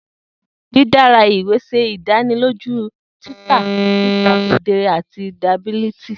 Didara iwe ṣe idaniloju titẹ sita kedere ati durability.